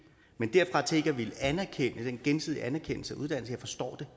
men derfra til ikke at ville anerkende den gensidige anerkendelse af uddannelser det forstår